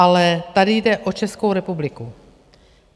Ale tady jde o Českou republiku.